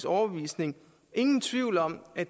overbevisning ingen tvivl om at